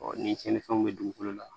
ni tiɲɛnifɛnw bɛ dugukolo la